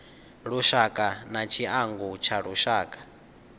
lushaka na tshiangu tsha lushaka